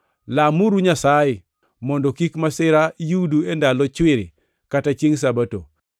Lamuru Nyasaye mondo kik masira yudu e ndalo chwiri kata chiengʼ Sabato.